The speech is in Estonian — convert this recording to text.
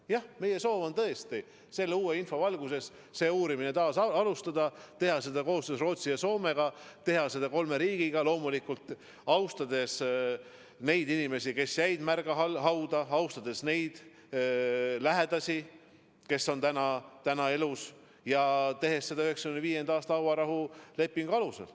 Jah, meie soov on tõesti selle uue info valguses uurimist taas alustada, teha seda koostöös Rootsi ja Soomega – kolm riiki koos –, loomulikult austades neid inimesi, kes jäid märga hauda, austades nende lähedasi, kes on täna elus, ja toimides 1995. aasta hauarahulepingu alusel.